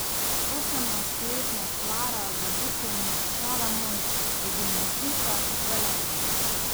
Osemnajstletna Klara Zabukovnik Šalamon je gimnazijka iz Velenja.